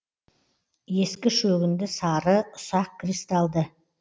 ескі шөгінді сары ұсақ кристалды